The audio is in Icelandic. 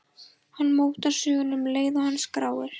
Hann mótar söguna um leið og hann skráir.